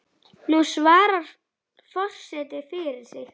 Nú svarar forseti fyrir sig.